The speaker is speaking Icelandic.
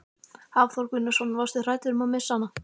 Hafþór Gunnarsson: Varstu hræddur um að missa hana?